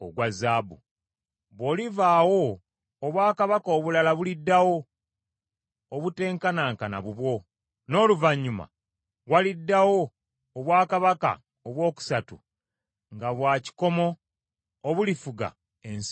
“Bw’olivaawo, obwakabaka obulala buliddawo, obutenkanankana bubwo. N’oluvannyuma waliddawo obwakabaka obwokusatu nga bwa kikomo obulifuga ensi yonna.